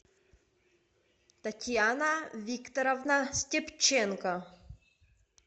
татьяна викторовна степченко